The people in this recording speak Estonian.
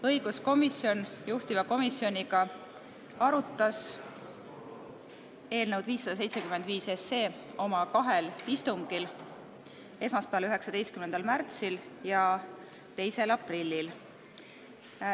Õiguskomisjon juhtiva komisjonina arutas eelnõu 575 oma kahel istungil: 19. märtsil ja 2. aprillil.